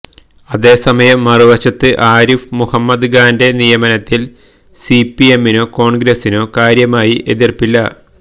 അതേസമയം മറുവശത്ത് ആരിഫ് മുഹമ്മദ് ഖാന്റെ നിയമനത്തിൽ സിപിഎമ്മിനോ കോൺഗ്രസിനോ കാര്യമായി എതിർപ്പുമില്ല